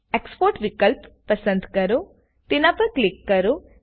Exportવિકલ્પ પસંદ કરોતેના પર ક્લિક કરો